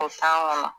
O tan kɔnɔ